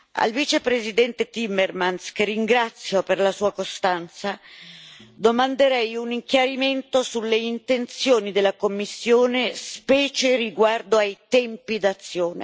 Al Vicepresidente Timmermans, che ringrazio per la sua costanza, domanderei un chiarimento sulle intenzioni della Commissione, specie riguardo ai tempi d'azione.